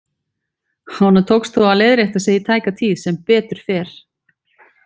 Honum tókst þó að leiðrétta sig í tæka tíð, sem betur fer.